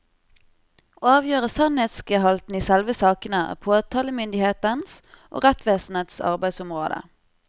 Å avgjøre sannhetsgehalten i selve sakene er påtalemyndighetens og rettsvesenets arbeidsområde.